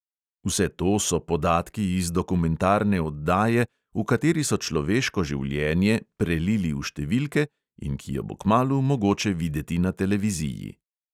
Vse to so podatki iz dokumentarne oddaje, v kateri so človeško življenje "prelili" v številke in ki jo bo kmalu mogoče videti na televiziji.